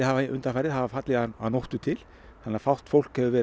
undanfarið hafa fallið að nóttu til þannig að fátt fólk hefur verið